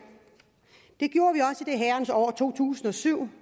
herrens år to tusind og syv